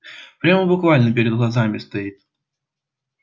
прямо буквально перед глазами стоит